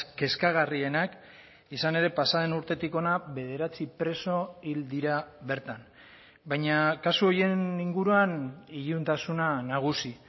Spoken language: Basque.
kezkagarrienak izan ere pasa den urtetik hona bederatzi preso hil dira bertan baina kasu horien inguruan iluntasuna nagusi